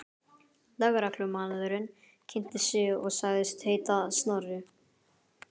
Lögreglumaðurinn kynnti sig og sagðist heita Snorri.